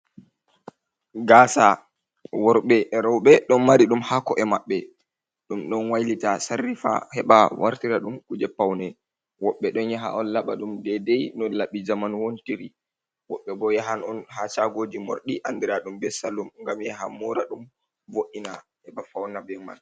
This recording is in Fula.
Gasa worbe rewɓe don mari ɗum ha ko’e maɓɓe, ɗum don wailita sarrifa heba wartira dum kuje paune woɓɓe don yaha on labadum dedei no labbi jamanu wontiri woɓɓe bo yahan on ha chagoji mordi andira ɗum be salum ngam yaha moura dum wo’ina heba fauna be man.